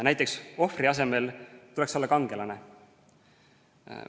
Näiteks, ohvri asemel tuleks olla kangelane.